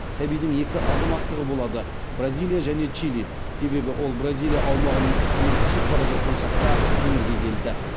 сәбидің екі азаматтығы болады бразилия және чили себебі ол бразилия аумағының үстімен ұшып бара жатқан шақта өмірге келді